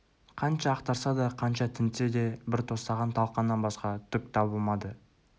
қанша ақтарса да қанша тінтсе де бір тостаған талқаннан басқа түк табылмады